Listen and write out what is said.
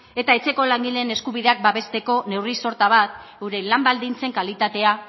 eta etxeko langileen eskubideak babesteko neurri sorta bat gure lan baldintzen kalitatea